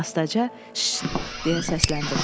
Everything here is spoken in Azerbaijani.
Astaca deyə səsləndim.